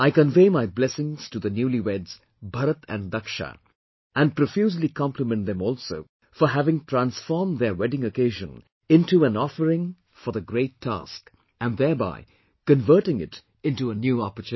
I convey my blessings to the newlyweds Bharat and Dakshaa and profusely compliment them also for having transformed their wedding occasion into an offering for the great task and thereby converting it into a new opportunity